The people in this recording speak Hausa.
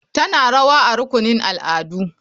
Tana rawa a rukunin al'adu.